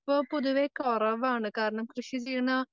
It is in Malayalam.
പ്പോ പൊതുവേ കൊറവാണ് കാരണം,